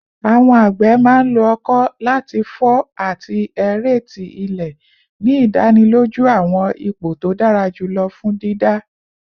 Awọn agbe man lo oko lati fọ ati aerate ile, ni idaniloju awọn ipo to dara julọ fun dida